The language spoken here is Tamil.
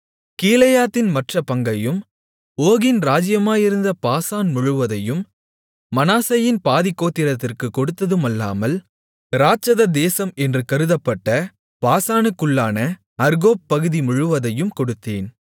கீலேயாத்தின் மற்றப் பங்கையும் ஓகின் ராஜ்ஜியமாயிருந்த பாசான் முழுவதையும் மனாசேயின் பாதிக் கோத்திரத்திற்குக் கொடுத்ததுமல்லாமல் இராட்சத தேசம் என்று கருதப்பட்ட பாசானுக்குள்ளான அர்கோப் பகுதி முழுவதையும் கொடுத்தேன்